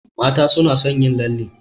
Mata suna son yin lalle